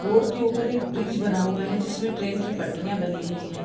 Road के ऊपर एक ब्रिज बना हुआ है जिसमें ट्रेन की पटरियां बनी हुई है।